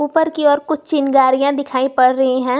ऊपर की ओर कुछ चिंगारियां दिखाई पड़ रही हैं।